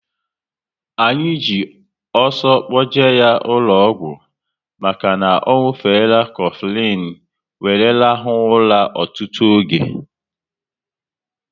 Anyị ji ọsọ kpoje ya ụlọ ọgwụ maka na ọ nwufere Kofilin wéré rahua ụra ọtụtụ oge